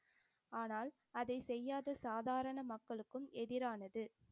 ஆனால் அதைச் செய்யாத சாதாரண மக்களுக்கும் எதிரானது.